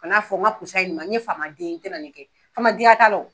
Kan'a fɔ n ka pusa nin ma n ye faama den ye n tɛna nin kɛ faama denya t'a la o.